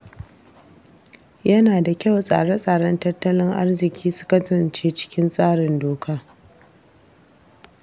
Yana da kyauTsare tsaren tattalin arziƙi su kasance cikin tsarin doka.